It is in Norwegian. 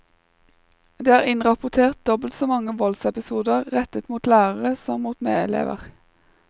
Det er innrapportert dobbelt så mange voldsepisoder rettet mot lærere som mot medelever.